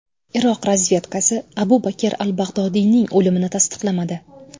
Iroq razvedkasi Abu Bakr al-Bag‘dodiyning o‘limini tasdiqlamadi.